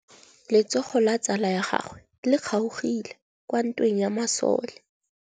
Letsôgô la tsala ya gagwe le kgaogile kwa ntweng ya masole.